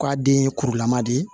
K'a den ye kurulama de ye